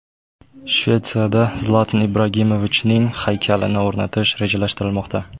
Shvetsiyada Zlatan Ibrahimovichning haykalini o‘rnatish rejalashtirilmoqda.